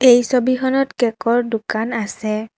এই ছবিখনত কেকৰ দোকান আছে।